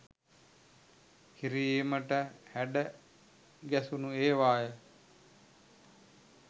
කිරීමට හැඩගැසුණු ඒවාය